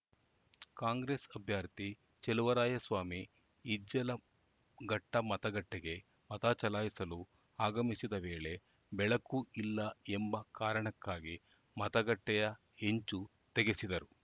ಕಾಂಗ್ರೆಸ್‌ ಅಭ್ಯರ್ಥಿ ಚಲುವರಾಯಸ್ವಾಮಿ ಇಜ್ಜಲಘಟ್ಟಮತಗಟ್ಟೆಗೆ ಮತ ಚಲಾಯಿಸಲು ಆಗಮಿಸಿದ ವೇಳೆ ಬೆಳಕು ಇಲ್ಲ ಎಂಬ ಕಾರಣಕ್ಕಾಗಿ ಮತಗಟ್ಟೆಯ ಹೆಂಚು ತೆಗೆಸಿದರು